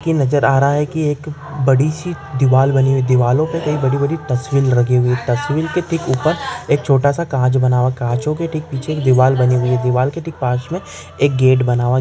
की नज़र आ रहा की एक बड़ीसी दीवार बनी हुई दीवारो पे कही बड़ी बड़ी तस्वीर लगी हुई तस्वीर के ठीक उपर एक छोटासा काच बना हुआ काचो के ठीक पिच्छे एक दीवार बनी हुई दीवार के ठीक पास मे एक गेट बना हुआ--